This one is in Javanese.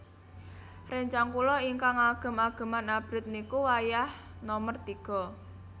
Rencang kula ignkang ngagem ageman abrit niku wayah nomer tiga